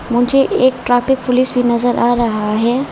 मुझे एक traffic police भी नजर आ रहा है।